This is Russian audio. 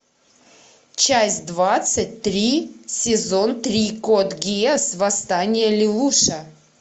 часть двадцать три сезон три код гиас восстание лелуша